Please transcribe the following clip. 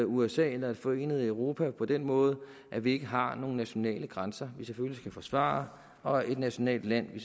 usa eller forenet europa på den måde at vi ikke har nogen nationale grænser vi selvfølgelig skal forsvare og et nationalt land vi